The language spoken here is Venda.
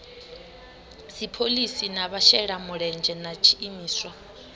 dziphoḽisi na vhashelamulenzhe na tshiimiswa